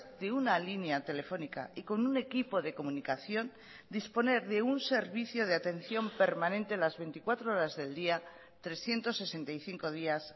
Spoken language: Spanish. de una línea telefónica y con un equipo de comunicación disponer de un servicio de atención permanente las veinticuatro horas del día trescientos sesenta y cinco días